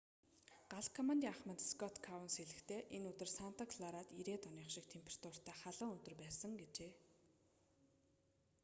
гал командын ахмад скотт коунс хэлэхдээ энэ өдөр санта кларад 90-ээд оных шиг температуртай халуун өдөр байсан гэжээ